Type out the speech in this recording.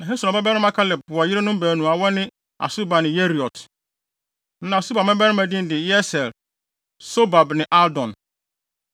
Na Hesron babarima Kaleb wɔ yerenom baanu a wɔne Asuba ne Yeriot. Na Asuba mmabarima din de Yeser, Sobab ne Ardon.